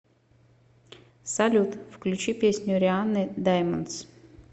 салют включи песню рианны даймондс